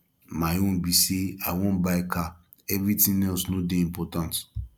my own be say i wan buy car everything else no dey important